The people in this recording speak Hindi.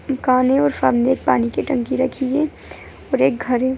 और सामने एक पानी की टंकी रखी है और एक घर हैं।